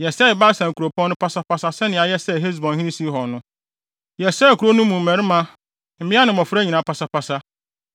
Yɛsɛee Basan kuropɔn no pasaa sɛnea yɛsɛee Hesbonhene Sihon no. Yɛsɛee nkurow no ne mu mmarima, mmea ne mmofra nyinaa pasapasa.